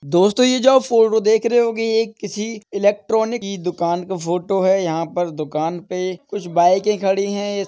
दोस्तों ये जो आप फोटो देख रहे होगे ये एक किसी इलेक्ट्रॉनिक की दुकान का फोटो है यहाँ पे दुकान पे कुछ बाइके खड़ी हैं।